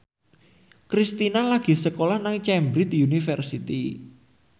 Kristina lagi sekolah nang Cambridge University